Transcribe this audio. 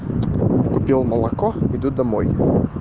купил молоко иду домой